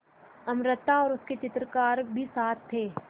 अमृता और उसके चित्रकार भी साथ थे